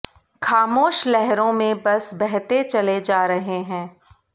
खामोश लहरों में बस बहते चले जा रहे है